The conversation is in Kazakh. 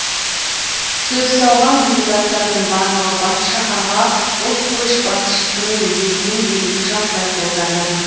сөз алған депутаттардың барлығы бас шаһарға ұлт көшбасшысының есімін беруді жаппай қолдады